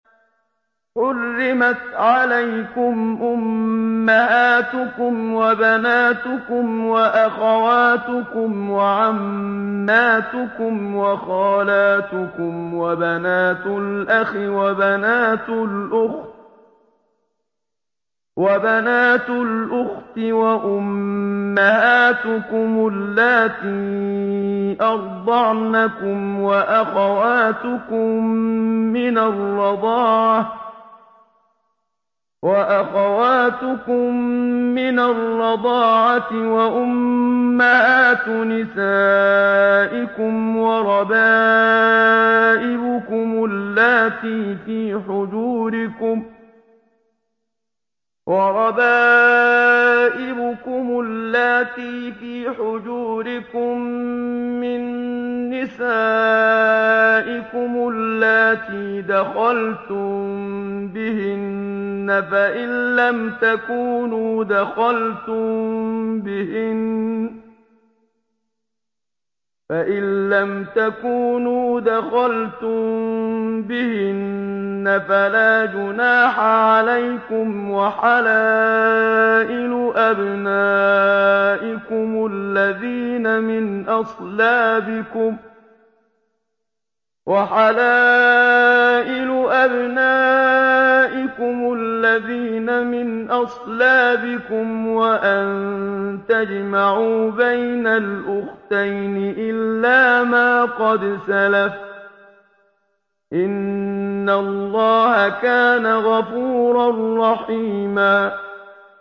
حُرِّمَتْ عَلَيْكُمْ أُمَّهَاتُكُمْ وَبَنَاتُكُمْ وَأَخَوَاتُكُمْ وَعَمَّاتُكُمْ وَخَالَاتُكُمْ وَبَنَاتُ الْأَخِ وَبَنَاتُ الْأُخْتِ وَأُمَّهَاتُكُمُ اللَّاتِي أَرْضَعْنَكُمْ وَأَخَوَاتُكُم مِّنَ الرَّضَاعَةِ وَأُمَّهَاتُ نِسَائِكُمْ وَرَبَائِبُكُمُ اللَّاتِي فِي حُجُورِكُم مِّن نِّسَائِكُمُ اللَّاتِي دَخَلْتُم بِهِنَّ فَإِن لَّمْ تَكُونُوا دَخَلْتُم بِهِنَّ فَلَا جُنَاحَ عَلَيْكُمْ وَحَلَائِلُ أَبْنَائِكُمُ الَّذِينَ مِنْ أَصْلَابِكُمْ وَأَن تَجْمَعُوا بَيْنَ الْأُخْتَيْنِ إِلَّا مَا قَدْ سَلَفَ ۗ إِنَّ اللَّهَ كَانَ غَفُورًا رَّحِيمًا